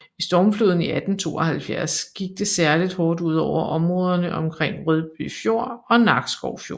Ved stormfloden i 1872 gik det særligt hårdt ud over områderne omkring Rødby Fjord og Nakskov Fjord